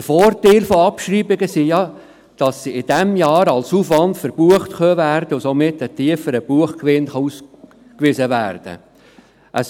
Der Vorteil von Abschreibungen ist ja, dass sie im selben Jahr als Aufwand verbucht werden können und somit ein tieferer Buchgewinn ausgewiesen werden kann.